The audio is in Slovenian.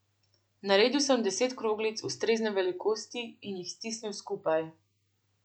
Naredil sem deset kroglic ustrezne velikosti in jih stisnil skupaj.